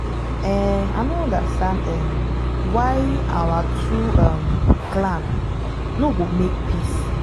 um i no understand um why our two um clan no go make peace